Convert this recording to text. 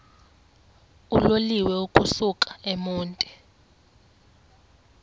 uloliwe ukusuk emontini